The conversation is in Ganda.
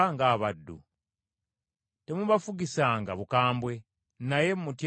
Temubafugisanga bukambwe, naye mutyenga Katonda wammwe.